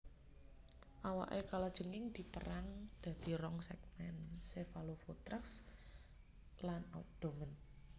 Awaké kalajengking dipérang dadi rong sègmèn cephalothorax lan abdomen